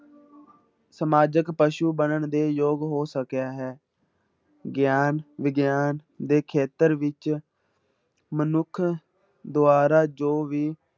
ਸਮਾਜਿਕ ਪਸੂ ਬਣਨ ਦੇ ਯੋਗ ਹੋ ਸਕਿਆ ਹੈ, ਗਿਆਨ ਵਿਗਿਆਨ ਦੇ ਖੇਤਰ ਵਿੱਚ ਮਨੁੱਖ ਦੁਆਰਾ ਜੋ ਵੀ